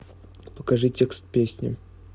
покажи текст песни